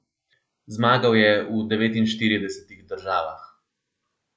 Zmagal je v devetinštiridesetih državah.